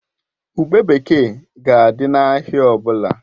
Ube bekee ga-adị n'ahịa ọ bụla